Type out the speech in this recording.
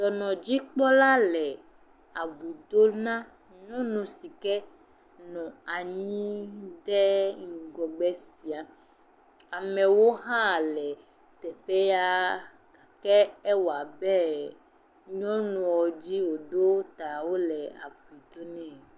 Dɔnɔdzikpɔla le abui do na nyɔnu si ke nɔ anyi ɖe ŋgɔgbe sia, amewo hã le teƒea, ke ewɔa abe nyɔnua dzi wòɖo ta wole abui do nɛ.